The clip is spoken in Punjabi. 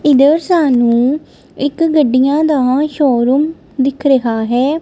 ਇੱਧਰ ਸਾਨੂੰ ਇੱਕ ਗੱਡੀਆਂ ਦਾ ਸ਼ੋਰੂਮ ਦਿੱਖ ਰਿਹਾ ਹੈ।